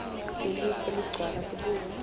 lelihle ligcwala tibungu